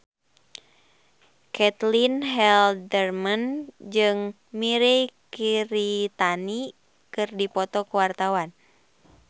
Caitlin Halderman jeung Mirei Kiritani keur dipoto ku wartawan